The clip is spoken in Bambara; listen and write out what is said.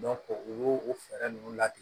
u y'o o fɛɛrɛ ninnu latigɛ